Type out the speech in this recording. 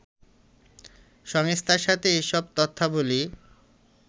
সংস্থার সাথে এসব তথ্যাবলি